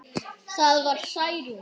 Það var Særún.